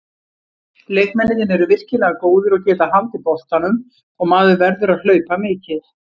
Leikmennirnir eru virkilega góðir og geta haldið boltanum, og maður verður að hlaupa mikið.